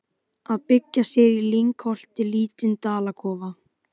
Að byggja sér í lyngholti lítinn dalakofa.